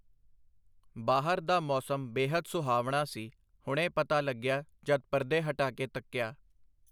ਬਾਹਰ ਦਾ ਮੌਸਮ ਬੇਹੱਦ ਸੁਹਾਵਣਾ ਸੀ, ਹੁਣੇ ਪਤਾ ਲੱਗਿਆ ਜਦ ਪਰਦੇ ਹਟਾਕੇ ਤੱਕਿਆ .